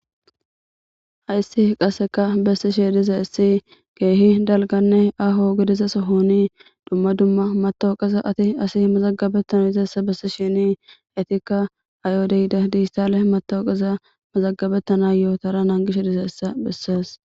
hayssi qasseka bessi she diza issi geehi dalganne aho gedizaso hooni dumma dumma matawuqeza ati asi mazagabettana izeessa bessi shini etikka ayo deyida diissale matawuqeza mazagabettana yootara nangishe diza issa bessees